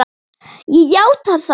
Ég játa það.